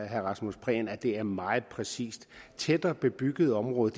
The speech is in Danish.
herre rasmus prehn at det er meget præcist et tættere bebygget område